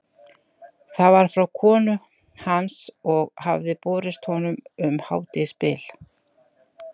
Það var frá konu hans og hafði borist honum um hádegisbil.